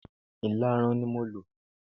Ìlarun ni mo lò.